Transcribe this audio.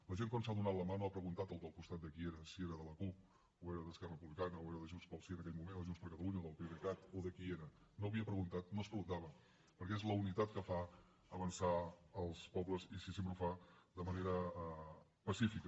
la gent quan s’ha donat la mà no ha preguntat al del costat de qui eren si era de la cup o era d’esquerra republicana o era de junts pel sí en aquell moment o de junts per catalunya o del pdecat o de qui era no ho havia preguntat no es preguntava perquè és la unitat que fa avançar els pobles i sí sempre ho fa de manera pacífica